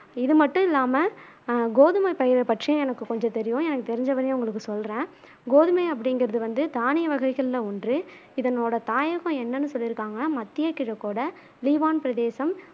இது மட்டும் இல்லாம ஆஹ் கோதுமை பயிரை பற்றியும் எனக்கு கொஞ்சம் தெரியும் எனக்கு தெரிஞ்ச வரையும் உங்களுக்கு சொல்றேன் கோதுமை அப்பிடிங்குறது வந்து தானிய வகைகள்ல ஒன்று இதனோட தாயகம் என்னன்னு சொல்லிருக்காங்கனா மத்திய கிழக்கோட லீவான் பிரதேசம்